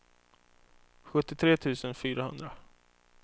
sjuttiotre tusen fyrahundra